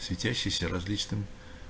светящиеся различным